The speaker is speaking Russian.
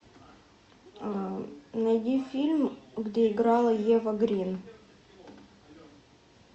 найди фильм где играла ева грин